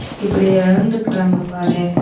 இப்டி இழந்துக்குறாங்க பாரேன்.